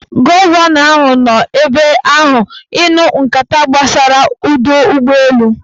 Gọvanọ ahụ nọ ebe ahụ ịnụ nkata gbasara ọdọụgbọelu